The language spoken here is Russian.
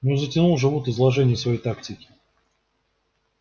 ну затянул же вуд изложение своей тактики